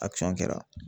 A cɔ kɛra